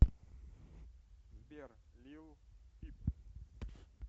сбер лил пип